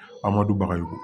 A ma dun bagayugu